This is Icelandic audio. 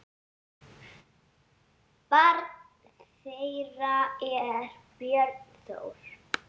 Barn þeirra er Björn Þór.